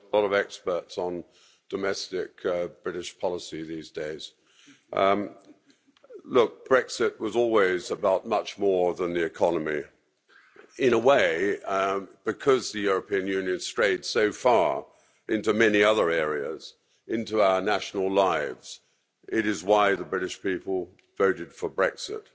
Madam President, lot of experts on domestic British policy these days. Look, Brexit was always about much more than the economy. In a way, because the European Union strayed so far into many other areas, into our national lives, it is why the British people voted for Brexit.